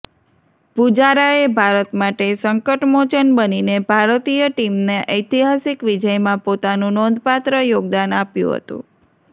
પુજારાએ ભારત માટે સંકટમોચન બનીને ભારતીય ટીમના ઐતિહાસિક વિજયમાં પોતાનું નોંધપાત્ર યોગદાન આપ્યુ હતું